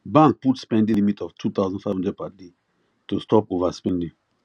bank put spending limit of 2500 per day to stop overspending